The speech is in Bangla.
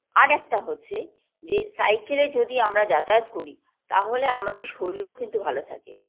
আরেকটা হচ্ছে যে cycle -এ যদি আমরা যাতায়াত করি তাহলে আমাদের শরীর কিন্তু ভালো থাকে